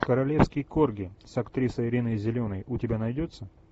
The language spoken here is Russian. королевский корги с актрисой риной зеленой у тебя найдется